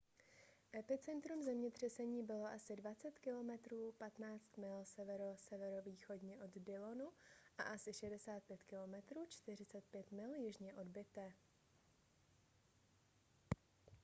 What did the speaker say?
epicentrum zemětřesení bylo asi 20 km 15 mil severo-severovýchodně od dillonu a asi 65 km 40 mil jižně od butte